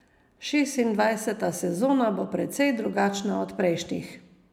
Šestindvajseta sezona bo precej drugačna od prejšnjih.